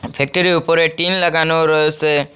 ফ্যাক্টরির উপরে টিন লাগানো রয়েসে।